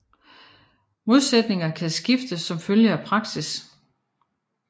Modsætninger kan skifte som følge af praksis